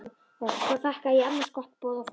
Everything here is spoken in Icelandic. Svo þakkaði ég annars gott boð og fór.